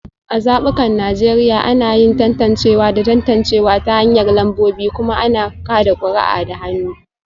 A zabukan Najeriya, ana yin tantancewa da tantancewa ta hanyar lambobi kuma ana kada kuri'a da hannu